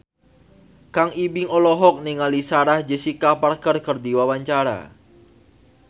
Kang Ibing olohok ningali Sarah Jessica Parker keur diwawancara